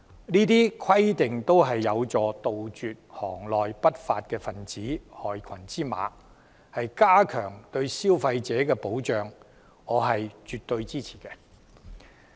上述規定都有助杜絕行內不法分子及害群之馬，加強對消費者的保障，我絕對支持。